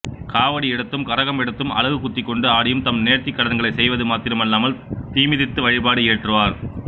காவடி எடுத்தும் கரகம் எடுத்தும் அலகு குத்திக்கொண்டு ஆடியும் தம் நேர்த்திக் கடன்களை செய்வது மாத்திரமல்லாமல் தீமிதித்து வழிபாடு இயற்றுவார்